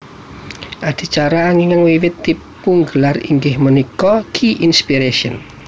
Adicara ingkang wiwit dipungelar inggih punika Q Inspiration